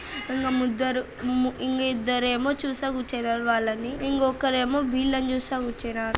ఇంకా ముద్దరు మ్ ఇంకా ఇద్దరేమో చూస్తా కూచ్చున్నారు వాళ్ళని ఇంకొక్కరేమో వీళ్ళను చూస్తా కూచ్చున్నారు.